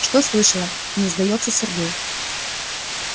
что слышала не сдаётся сергей